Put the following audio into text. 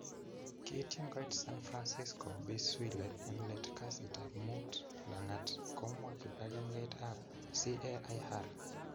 kiityin koit san fransisco Bi Swile en let kasitap muut langat komwa kipagengeit ap CAIR.